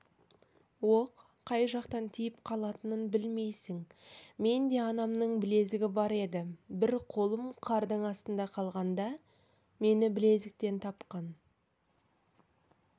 оқ қай жақтан тиіп қалатынын білмейсің менде анамның білезігі бар еді бір қолым қардың астында қалғанда мені білезіктен тапқан